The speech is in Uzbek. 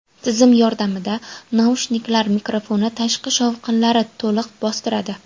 Tizim yordamida naushniklar mikrofoni tashqi shovqinlari to‘liq bostiradi.